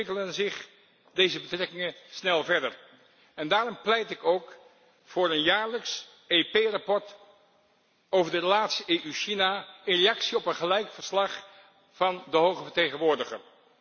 Intussen ontwikkelen zich deze betrekkingen snel verder en daarom pleit ik ook voor een jaarlijks EP verslag over de relaties EU China in reactie op een gelijk verslag van de Hoge Vertegenwoordiger.